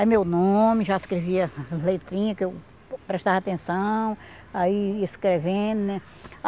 Aí meu nome, já escrevia as letrinhas que eu prestava atenção, aí escrevendo, né?